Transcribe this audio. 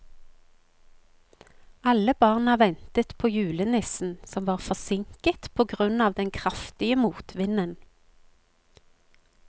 Alle barna ventet på julenissen, som var forsinket på grunn av den kraftige motvinden.